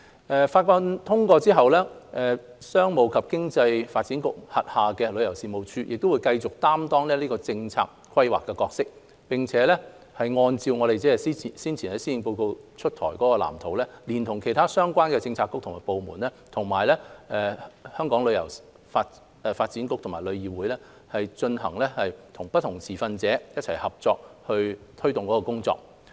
《條例草案》通過後，商務及經濟發展局轄下的旅遊事務署亦會繼續擔當政策規劃的角色，並按照早前施政報告推出的藍圖，聯同其他相關的政策局和部門，以及香港旅遊發展局和旅議會，與不同持份者一起合作推動工作。